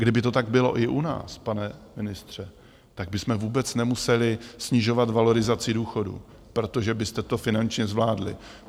Kdyby to tak bylo i u nás, pane ministře, tak bychom vůbec nemuseli snižovat valorizaci důchodů, protože byste to finančně zvládli.